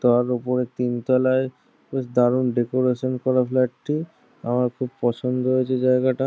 তার ওপরে তিন তলায় বেশ দারুন ডেকোরেশন করা ফ্লাট টি। আমার খুব পছন্দ হয়েছে জায়গাটা।